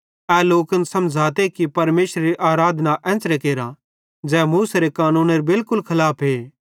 एन लोकन समझ़ाते कि परमेशरेरी आराधना एन्च़रे केरा ज़ै मूसेरे कानूनेरे बिलकुल बरखलाफे